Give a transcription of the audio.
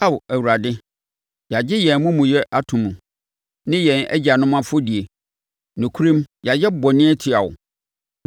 Ao, Awurade, yɛagye yɛn amumuyɛ ato mu ne yɛn agyanom afɔdie; nokorɛm yɛayɛ bɔne atia wo.